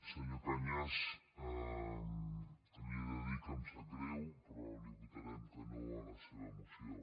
senyor cañas li he de dir que em sap greu però li votarem que no a la seva moció